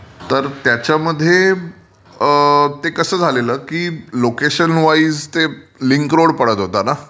म्हणजे तर त्याच्यामध्ये तर ते कसं झालेलं की लोकेशन वाईज ते लिंक रोड पडत होता ना.